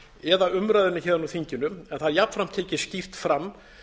eða umræðunni héðan úr þinginu en það er jafnframt tekið skýrt fram